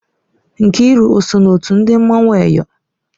Nkiru o so na otu ndị mmanwụ Eyọ?